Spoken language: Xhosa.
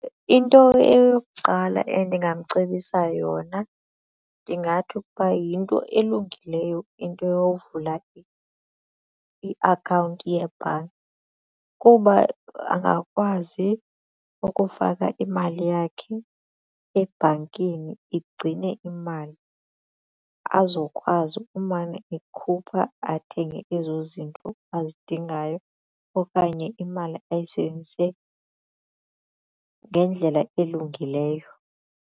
Into eyokuqala endingamcebisa yona ndingathi ukuba yinto elungileyo into yokuvula iakhawunti yebhanki kuba angakwazi ukufaka imali yakhe ebhankini igcine imali azokwazi umane ekhupha athenge ezo zinto azidingayo okanye imali ayisebenzise ngendlela elungileyo.